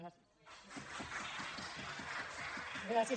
gràcies